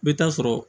I bɛ taa sɔrɔ